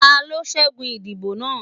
tani o ṣẹgun idibo naa?